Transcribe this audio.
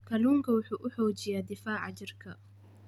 Kalluunku waxa uu xoojiyaa difaaca jidhka.